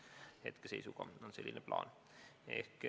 Hetkeseisuga on selline plaan.